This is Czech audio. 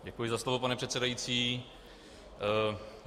Děkuji za slovo, pane předsedající.